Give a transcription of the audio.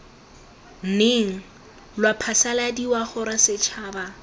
neng lwa phasaladiwa gore setšhaba